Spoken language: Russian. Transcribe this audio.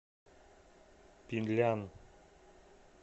пинлян